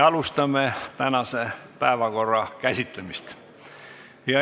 Alustame tänase päevakorra käsitlemist.